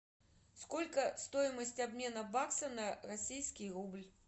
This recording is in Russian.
сколько стоимость обмена бакса на российский рубль